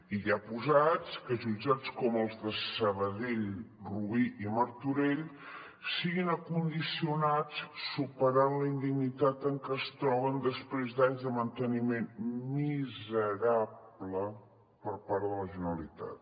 i ja posats que jutjats com els de sabadell rubí i martorell siguin condicionats superant la indignitat en que es troben després d’anys de manteniment miserable per part de la generalitat